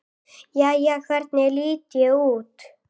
Jæja, hvernig lít ég út?